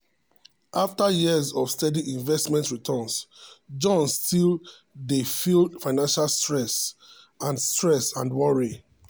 after years of steady investment returns john still dey feel financial stress and stress and worry.